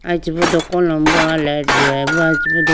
aye chibido kolobrowa light huwayi bo.